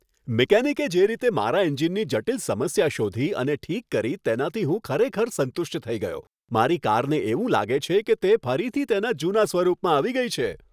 મિકેનિકે જે રીતે મારા એન્જિનની જટિલ સમસ્યા શોધી અને ઠીક કરી, તેનાથી હું ખરેખર સંતુષ્ટ થઈ ગયો, મારી કારને એવું લાગે છે કે તે ફરીથી તેના જૂના સ્વરૂપમાં આવી ગઈ છે.